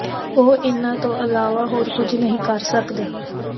ਉਹ ਉਨ੍ਹਾਂ ਤੋਂ ਇਲਾਵਾ ਹੋਰ ਕੁਝ ਨਹੀਂ ਕਰ ਸਕਦੇ